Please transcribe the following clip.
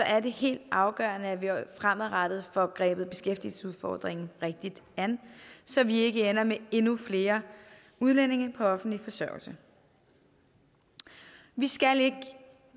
er det helt afgørende at vi fremadrettet får grebet beskæftigelsesudfordringen rigtigt an så vi ikke ender med endnu flere udlændinge på offentlig forsørgelse vi skal ikke